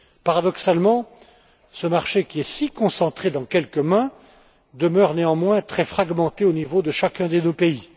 Paradoxalement, ce marché, qui est si concentré dans quelques mains, demeure néanmoins très fragmenté au niveau de chacun de nos pays.